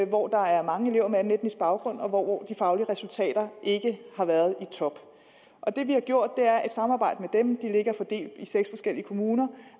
hvor der er mange elever med anden etnisk baggrund og hvor de faglige resultater ikke har været i top det vi har gjort i samarbejde med dem de ligger fordelt i seks forskellige kommuner